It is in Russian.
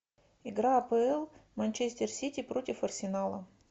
игра апл манчестер сити против арсенала